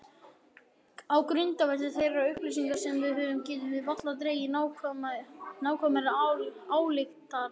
Á grundvelli þeirra upplýsinga sem við höfum getum við varla dregið nákvæmari ályktanir.